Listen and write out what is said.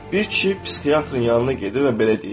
Bir kişi psixiatrın yanına gedir və belə deyir: